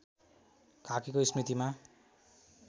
काकीको स्मृतिमा